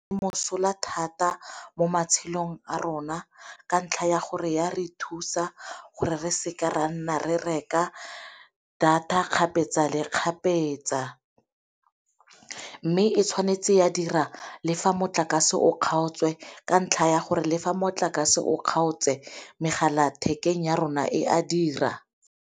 Mosola thata mo matshelong a rona ka ntlha ya gore ya re thusa gore re seka ra nna re reka data kgapetsa le kgapetsa, mme e tshwanetse ya dira le fa motlakase o kgaotswe ka ntlha ya gore le fa motlakase o kgaotse megala thekeng ya rona e a dira.